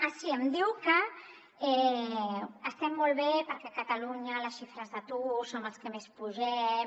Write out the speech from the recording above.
ah sí em diu que estem molt bé perquè a catalunya en les xifres d’atur som els que més pugem